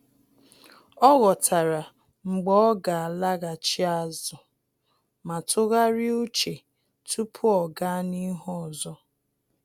Ọ́ ghọ́tàrà mgbe ọ́ gà-àlàghàchí ázụ́ ma tụ́gharị́a úchè tupu ọ́ gàá n’ihu ọzọ.